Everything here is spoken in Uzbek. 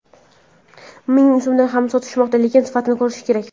Ming so‘mdan ham sotishmoqda, lekin sifatini ko‘rish kerak.